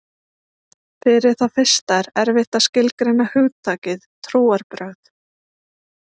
Fyrir það fyrsta er erfitt að skilgreina hugtakið trúarbrögð.